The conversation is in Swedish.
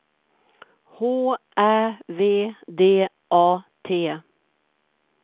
H Ä V D A T